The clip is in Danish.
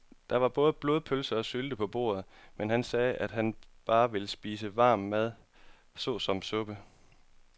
Der var både blodpølse og sylte på bordet, men han sagde, at han bare ville spise varm mad såsom suppe.